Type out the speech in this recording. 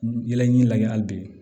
Yɛlɛji lajɛ hali bi